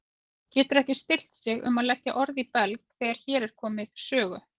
Getur ekki stillt sig um að leggja orð í belg þegar hér er komið sögu.